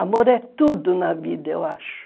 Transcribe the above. Amor é tudo na vida, eu acho.